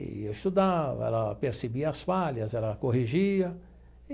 E eu estudava, ela percebia as falhas, ela corrigia.